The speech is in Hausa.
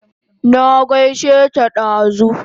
Na gaishe ta dazu